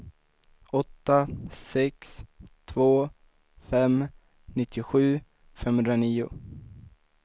åtta sex två fem nittiosju femhundranio